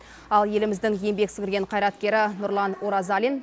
ал еліміздің еңбек сіңірген қайраткері нұрлан оразалин